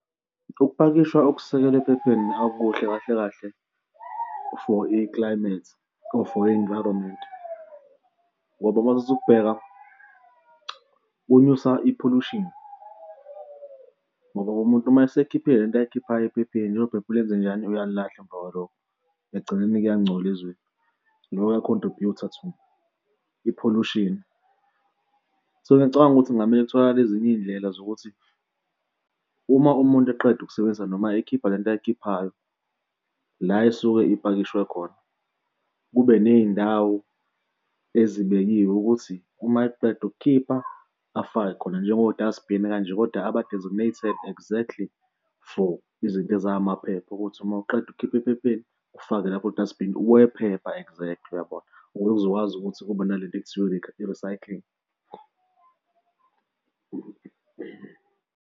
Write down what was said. Ukupakishwa okusekelwe ephepheni akukuhle kahle kahle for i-climate or for i-environment ngoba mawuthatha ukusubheka kunyusa i-pollution ngoba umuntu uma esekhiphe lento ayikhiphayo ephepheni, lelo phepha ulenzenjani? Uyalilahla emva kwalokho ekugcineni kuyangcola izweni, loko kuya-contribute-a to i-pollution. So, ngicabanga ukuthi kungamele kutholakale ezinye iy'ndlela zokuthi uma umuntu eqeda ukusebenzisa noma ekhipha lento ayikhiphayo la, esuke ipakishwe khona kube ney'ndawo ezibekiwe ukuthi uma eqeda ukukhipha afake khona njengo dustbin kanje, kodwa a ba-designed exactly for izinto ezamaphepha ukuthi uma uqeda ukukhipha ephepheni ufake lapho ku-dustbin wephepha exactly uyabona? Ukuze kuzokwazi ukuthi kube nalento ekuthiwa i-recycling.